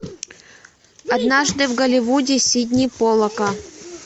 однажды в голливуде сидни поллака